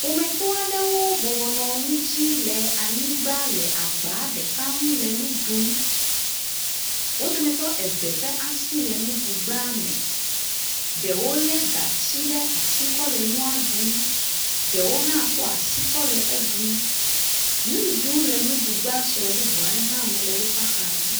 Ƒometɔ aɖewo bɔbɔ nɔ nu dzi le anyigba le agba ɖeka ŋu le nu ɖum. Wo dometɔ eve ƒe asi le nuɖugba me, ɖewo lé gatsi ɖe asi kɔ le nua ɖum, ɖewo hã kɔ asi kɔ le ɖum. Nuɖuɖu le nuɖugba sue bubu aɖe hã me le woƒe axa dzi.